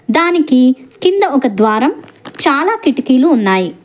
దానికి కింద ఒక ద్వారం చాలా కిటికీ లు ఉన్నాయి.